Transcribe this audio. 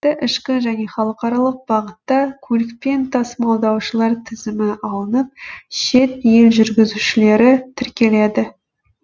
ішкі және халықаралық бағытта көлікпен тасымалдаушылар тізімі алынып шет ел жүргізушілері тіркеледі